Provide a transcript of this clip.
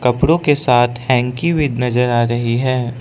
कपड़ों के साथ हैंकी भी नजर आ रही है।